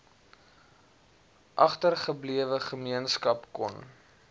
agtergeblewe gemeenskap kon